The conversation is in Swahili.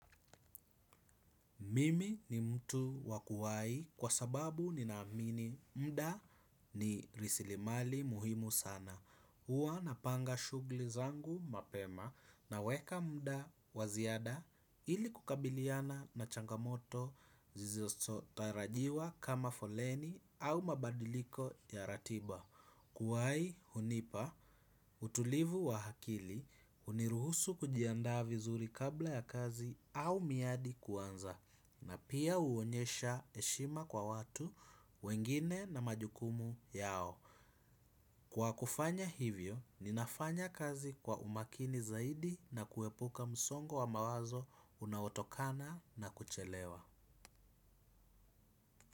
Mimi ni mtu wa kuwai kwa sababu ninaamini mda ni rasilimali muhimu sana. Huwa napanga shugli zangu mapema naweka mda wa ziada ili kukabiliana na changamoto zizisotarajiwa kama foleni au mabadiliko ya ratiba. Kuwai hunipa utulivu wa akili huniruhusu kujiandaa vizuri kabla ya kazi au miadi kuanza. Na pia huonyesha heshima kwa watu wengine na majukumu yao. Kwa kufanya hivyo, ninafanya kazi kwa umakini zaidi na kuepuka msongo wa mawazo unaotokana na kuchelewa.